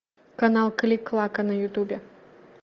канал клик клака на ютубе